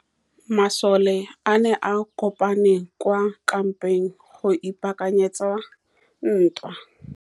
Masole a ne a kopane kwa kampeng go ipaakanyetsa ntwa.